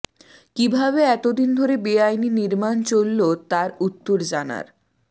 কীভাবে এতদিন ধরে বেআইনী নির্মাণ চলল তার উত্তর জানার